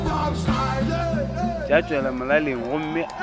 tša tšwela molaleng gomme o